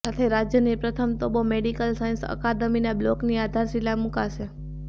સાથે રાજ્યની પ્રથમ તોબો મેડિકલ સાયન્સ અકાદમીના બ્લોકની આધારશિલા મૂકશે